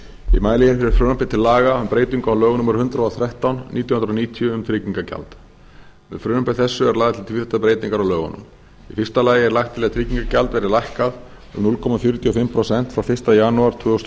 um breytingu á lögum númer hundrað og þrettán nítján hundruð níutíu um tryggingagjald með frumvarpi þessu eru lagðar til tvíþættar breytingar á lögunum í fyrsta lagi er lagt til að tryggingagjald verði lækkað um núll komma fjörutíu og fimm prósent frá fyrsta janúar tvö þúsund og